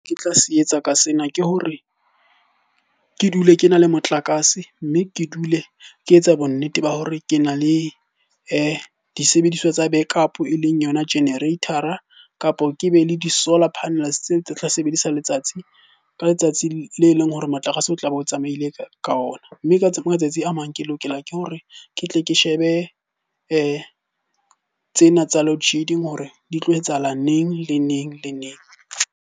Ke tla se etsa ka sena, ke hore ke dule ke na le motlakase. Mme ke dule ke etsa bonnete ba hore ke na le disebediswa tsa backup e leng yona generator-a, kapo ke be le di-solar panels tse, tse tla sebedisa letsatsi ka letsatsi le leng hore motlakase o tlabe o tsamaile ka ona. Mme matsatsi a mang ke lokela ke hore ke tle ke shebe tsena tsa loadshedding hore di tlo etsahala neng? Le neng le neng?